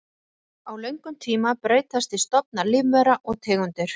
Á löngum tíma breytast því stofnar lífvera og tegundir.